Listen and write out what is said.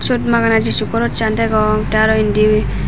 siut magana jisu cross an degong te aro indi.